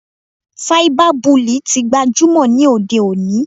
Cyber bullying tí gbajúmọ̀ ní òde òní.